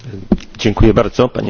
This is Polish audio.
Panie Przewodniczący!